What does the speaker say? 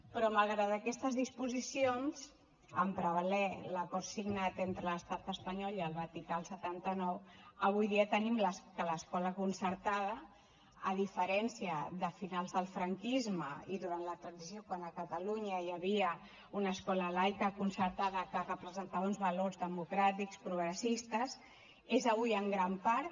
però malgrat aquestes disposicions en prevaler l’acord signat entre l’estat espanyol i el vaticà el setanta nou avui dia tenim que l’escola concertada a diferència de finals del franquisme i durant la transició quan a catalunya hi havia una escola laica concertada que representava uns valors democràtics progressistes és avui en gran part